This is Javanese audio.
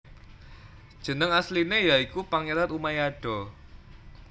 Jeneng asline ya iku Pangeran Umayado